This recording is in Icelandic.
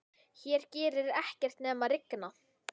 Hér gerir ekkert nema rigna.